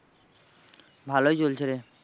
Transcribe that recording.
ভালোই চলছে রে।